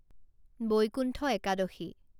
Vaikuntha Ekadashi